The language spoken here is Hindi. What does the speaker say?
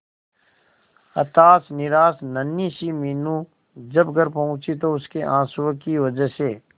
हताश निराश नन्ही सी मीनू जब घर पहुंची तो उसके आंसुओं की वजह से